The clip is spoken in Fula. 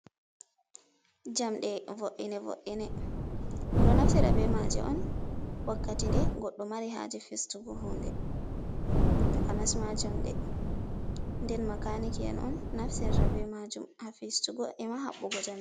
Jamɗe wo'inne wo'inne, ɗo naftira be maje on wakkati de goddo mari haje festugo hunde, takanasma jamɗe ɗen makaniki en on naftirta be majuum ha fistugo ema haɓɓugo jamɗe.